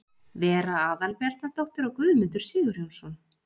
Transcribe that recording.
Vera Aðalbjarnardóttir og Guðmundur Sigurjónsson.